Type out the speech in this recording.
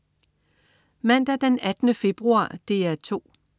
Mandag den 18. februar - DR 2: